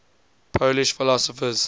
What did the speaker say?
polish philosophers